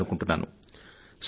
వినాలనుకుంటున్నాను